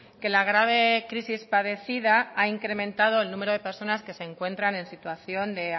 que la grave crisis padecida ha incrementado el número de personas que se encuentran en situación de